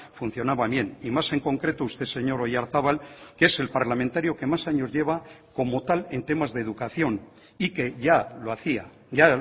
funcionaba bien y más en concreto usted señor oyarzabal que es el parlamentario que más años lleva como tal en temas de educación y que ya lo hacía ya